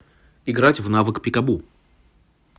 играть в навык пикабу